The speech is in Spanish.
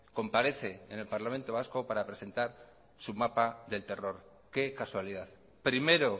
comparece en el parlamento vasco para presentar su mapa del terror qué casualidad primero